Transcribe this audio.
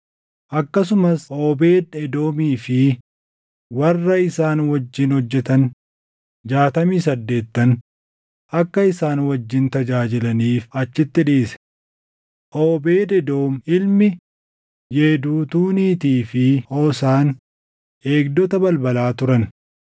Akkasumas Oobeed Edoomii fi warra isaan wajjin hojjetan jaatamii saddeettan akka isaan wajjin tajaajilaniif achitti dhiise. Oobeed Edoom ilmi Yeduutuuniitii fi Hoosaan eegdota balbalaa turan.